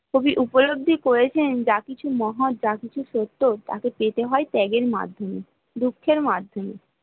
উপলব্ধি করেছেন যা কিছু মহান যা কিছু সত্য তাকে পেতে হয় ত্যাগের মাধ্যমে দুঃখের মাধমে